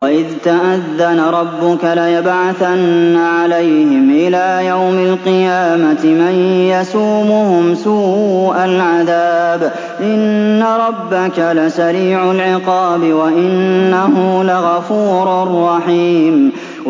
وَإِذْ تَأَذَّنَ رَبُّكَ لَيَبْعَثَنَّ عَلَيْهِمْ إِلَىٰ يَوْمِ الْقِيَامَةِ مَن يَسُومُهُمْ سُوءَ الْعَذَابِ ۗ إِنَّ رَبَّكَ لَسَرِيعُ الْعِقَابِ ۖ وَإِنَّهُ لَغَفُورٌ رَّحِيمٌ